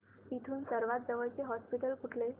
इथून सर्वांत जवळचे हॉस्पिटल कुठले